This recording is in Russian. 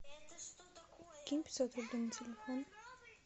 кинь пятьсот рублей на телефон